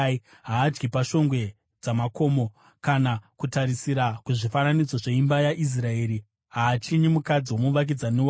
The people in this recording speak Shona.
“Haadyi pashongwe dzamakomo kana kutarisira kuzvifananidzo zveimba yaIsraeri. Haachinyi mukadzi womuvakidzani wake.